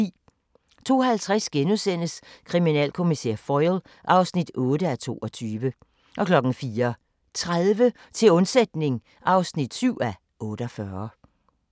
02:50: Kriminalkommissær Foyle (8:22)* 04:30: Til undsætning (7:48)